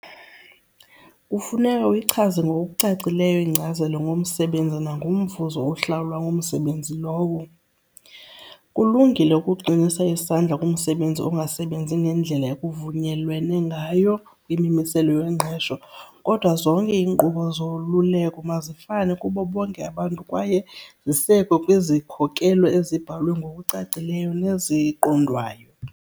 Kufuneka uyichaze ngokucacileyo inkcazelo ngomsebenzi nangomvuzo ohlawulwa ngomsebenzi lowo. Kulungile ukuqinisa isandla kumsebenzi ongasebenzi ngendlela ekuvunyelwene ngayo kwimimiselo yengqesho kodwa zonke iinkqubo zoluleko mazifane kubo bonke abantu kwaye zisekwe kwizikhokelo ezibhalwe ngokucacileyo neziqondwayo.